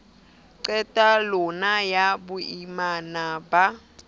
qetel long ya boimana ba